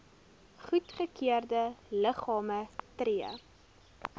goedgekeurde liggame tree